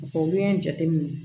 olu ye jateminɛ